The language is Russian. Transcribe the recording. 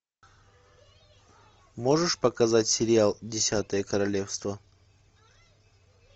можешь показать сериал десятое королевство